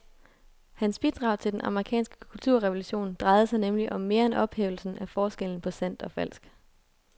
Hans bidrag til den amerikanske kulturrevolution drejede sig nemlig om mere end ophævelsen af forskellen på sandt og falsk.